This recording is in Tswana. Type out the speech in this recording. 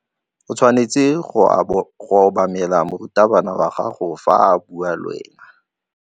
O tshwanetse go obamela morutabana wa gago fa a bua le wena.